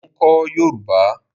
Mo ń kọ́ yòrùbá.